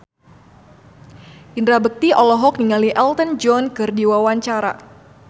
Indra Bekti olohok ningali Elton John keur diwawancara